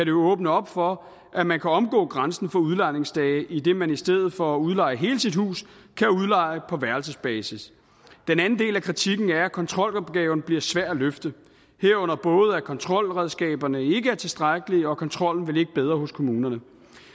jo åbne op for at man kan omgå grænsen for udlejningsdage idet man i stedet for at udleje hele sit hus kan udleje på værelsesbasis den anden del af kritikken er at kontrolopgaven bliver svær at løfte herunder både at kontrolredskaberne ikke er tilstrækkelige og at kontrollen vil ligge bedre hos kommunerne